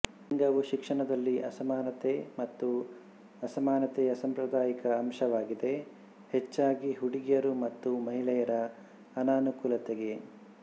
ಲಿಂಗವು ಶಿಕ್ಷಣದಲ್ಲಿ ಅಸಮಾನತೆ ಮತ್ತು ಅಸಮಾನತೆಯ ಸಾಂಪ್ರದಾಯಿಕ ಅಂಶವಾಗಿದೆ ಹೆಚ್ಚಾಗಿ ಹುಡುಗಿಯರು ಮತ್ತು ಮಹಿಳೆಯರ ಅನನುಕೂಲತೆಗೆ